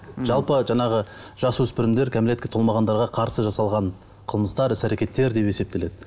жалпы жаңағы жасөспірімдер кәмелетке толмағандарға қарсы жасалған қылмыстар іс әрекеттер деп есептеледі